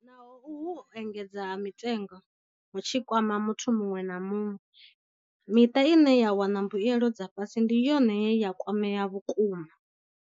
Naho uhu u engedzea ha mitengo hu tshi kwama muthu muṅwe na muṅwe, miṱa ine ya wana mbuelo dza fhasi ndi yone ye ya kwamea vhukuma.